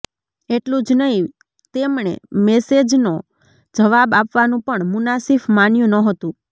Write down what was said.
એટલું જ નહીં તેમણે મેસેજનો જવાબ આપવાનું પણ મુનાસિફ માન્યું નહોતું